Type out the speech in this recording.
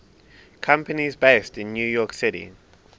companies based in new york city